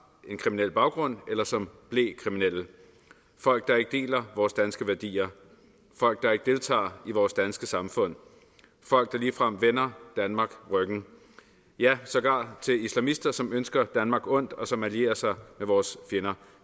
en kriminel baggrund eller som blev kriminelle folk der ikke deler vores danske værdier folk der ikke deltager i vores danske samfund folk der ligefrem vender danmark ryggen ja sågar islamister som ønsker danmark ondt og som allierer sig med vores fjender